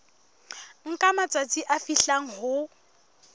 nka matsatsi a fihlang ho